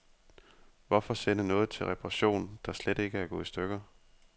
Hvorfor sende noget til reparation, der slet ikke er gået i stykker.